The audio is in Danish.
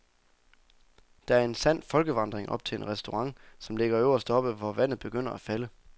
Der er en sand folkevandring op til en restaurant, som ligger øverst oppe, hvor vandet begynder at falde.